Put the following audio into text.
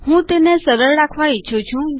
હું તેને સરળ રાખવા ઈચ્છું છું